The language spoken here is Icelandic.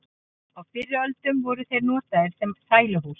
á fyrri öldum voru þeir notaðir sem sæluhús